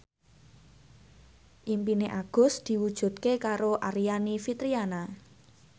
impine Agus diwujudke karo Aryani Fitriana